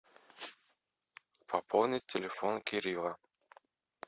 пополнить телефон кирилла